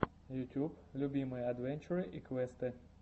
ютуб любимые адвенчуры и квесты